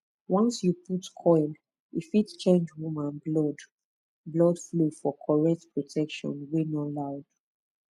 once you put coil e fit change woman blood blood flow for correct protection wey no loud